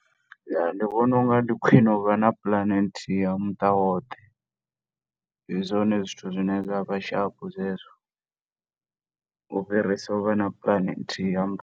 Ya ndi vhona unga ndi khwine u vha na puḽane nthihi ya muṱa woṱhe, ndi zwone zwithu zwi ne zwa vha shaphu zwezwo, u fhirisa u vha na puḽane nthihi ya .